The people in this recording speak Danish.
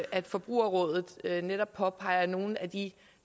at forbrugerrådet netop påpeger nogle af de